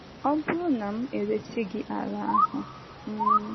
“ Ọ bụrụ na m éresị gị ala ahụ um,